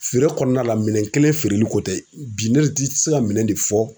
Feere kɔnɔna la, minɛn kelen feereli ko tɛ .Bi ne de ti se ka minɛn de fɔ